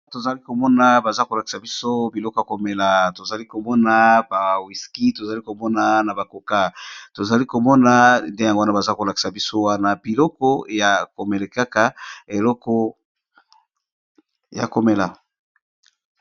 tozali komona baza kolakisa biso biloko ya komela tozali komona ba wiski tozali komona na ba koka tozali komona nde yango wana baza kolakisa biso wana biloko ya komele kaka eleko ya komela.